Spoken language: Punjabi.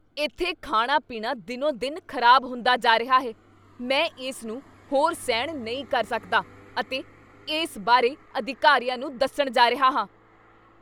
ਇੱਥੇ ਖਾਣਾ ਪੀਣਾ ਦਿਨੋ ਦਿਨ ਖ਼ਰਾਬ ਹੁੰਦਾ ਜਾ ਰਿਹਾ ਹੈ ਮੈਂ ਇਸ ਨੂੰ ਹੋਰ ਸਹਿਣ ਨਹੀਂ ਕਰ ਸਕਦਾ ਅਤੇ ਇਸ ਬਾਰੇ ਅਧਿਕਾਰੀਆਂ ਨੂੰ ਦੱਸਣ ਜਾ ਰਿਹਾ ਹਾਂ